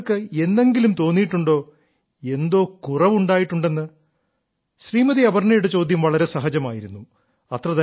താങ്കൾക്ക് എന്നെങ്കിലും തോന്നിയിട്ടുണ്ടോ എന്തോ കുറവ് ഉണ്ടായിട്ടുണ്ടെന്ന് ശ്രീമതി അപർണ്ണയുടെ ചോദ്യം വളരെ സഹജമായിരുന്നു